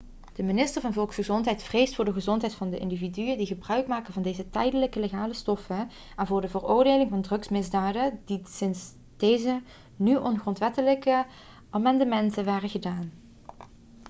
de minister van volksgezondheid vreest voor de gezondheid van de individuen die gebruikmaken van deze tijdelijk legale stoffen en voor de veroordelingen voor drugsmisdaden die sinds deze nu ongrondwettelijke amendementen waren gedaan